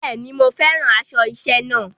Bẹ́ẹ̀ ni, mo fẹ́ràn aṣọ iṣẹ́ náà.